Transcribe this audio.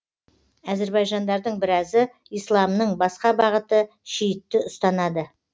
әзірбайжандардың біразы исламның басқа бағыты шиитті ұстанады